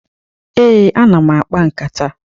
Ee, ana m akpa nkata.